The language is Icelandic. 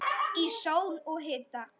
Í sól og hita.